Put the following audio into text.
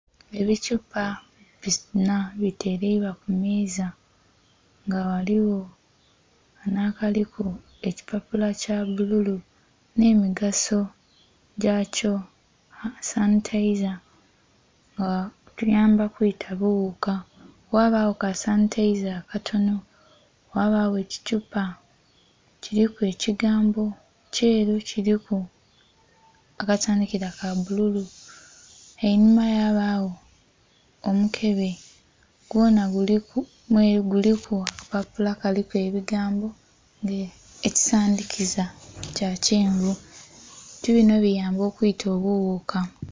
Ebithupa binha bitereibwa ku meeza nga ghaligho kanho akaliku ekipapula kya bbululu nhemigaso gyakyo, sanhitaiza nga atuyamba kwita bughuka, ghabagho ka sanhitaiza akatono, ghabagho ekithupa kiliku ekigambo kyeeru, kiliku akasandhikira ka bbululu. Enhuma ghabagho omukebe gwonha guliku akapapula kaliku ebigambo nh'ekisandikiza kya kyenvu. Ebintu binho biyamba okwita obughuka.